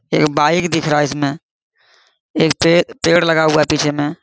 एक बाइक दिख रहा है इसमें एक पे पेड़ लगा हुआ है पीछे में।